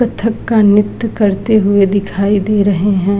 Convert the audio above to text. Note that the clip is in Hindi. कत्थक का नृत्य करते हुए दिखाई दे रहे हैं।